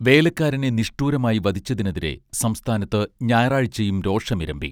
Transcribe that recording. വേലക്കാരനെ നിഷ്ഠൂരമായി വധിച്ചതിനെതിരെ സംസ്ഥാനത്ത് ഞായറാഴ്ചയും രോഷമിരമ്പി